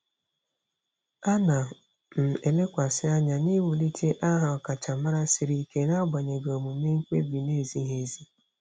Ana m elekwasị anya n'iwulite aha ọkachamara siri ike n'agbanyeghị omume mkpebi na-ezighị ezi.